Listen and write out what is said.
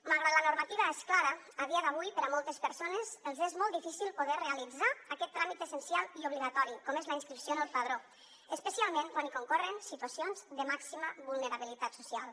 malgrat que la normativa és clara a dia d’avui a moltes persones els és molt difícil poder realitzar aquest tràmit essencial i obligatori com és la inscripció en el padró especialment quan hi concorren situacions de màxima vulnerabilitat social